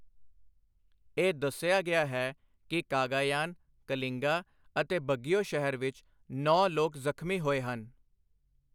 ਇਹ ਦੱਸਿਆ ਗਿਆ ਹੈ ਕਿ ਕਾਗਾਯਾਨ, ਕਲਿੰਗਾ ਅਤੇ ਬਗੀਓ ਸ਼ਹਿਰ ਵਿੱਚ ਨੌਂ ਲੋਕ ਜ਼ਖਮੀ ਹੋਏ ਹਨ।